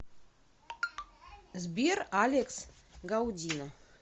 сбер алекс гаудино